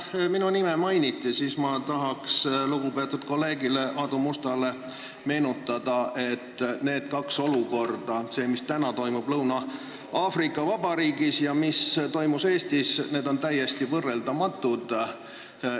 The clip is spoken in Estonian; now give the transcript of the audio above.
Kuna minu nime mainiti, siis ma tahan lugupeetud kolleegile Aadu Mustale meenutada, et need kaks olukorda – see, mis praegu toimub Lõuna-Aafrika Vabariigis, ja mis toimus Eestis – on täiesti võrreldamatud.